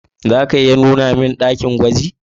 Za ka iya nuna mun dakin gwajin?